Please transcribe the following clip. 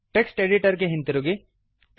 text editor ಗೆ ಹಿಂದಿರುಗಿ